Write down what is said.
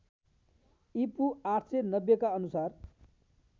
ईपू ८९० का अनुसार